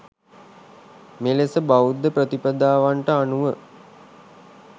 මෙලෙස බෞද්ධ ප්‍රතිපදාවන්ට අනුව